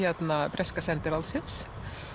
breska sendiráðsins